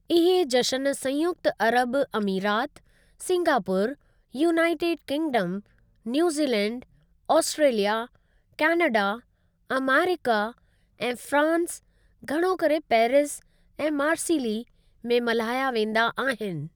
इहे जश्‍न संयुक्‍त अरब अमीरात, Singapore, United Kingdom, New Zealand, Australia, Canada, America, ऐं फ्रांस (घणो करे पेरिस ऐं मार्सिली) में मल्हाया वेंदा आहिनि।